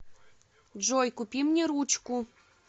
джой купи мне ручку